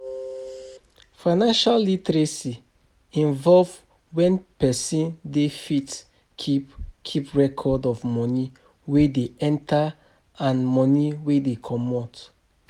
Financial literacy involve when person dey fit keep keep record of money wey dey enter and money wey dey comot